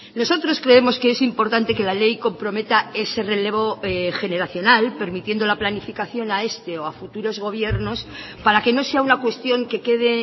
nosotros creemos que es importante que la ley comprometa ese relevo generacional permitiendo la planificación a este o a futuros gobiernos para que no sea una cuestión que quede